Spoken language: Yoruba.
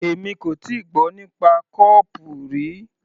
Èmi kò tíì gbọ́ nípa kó-ọọ̀pù rí.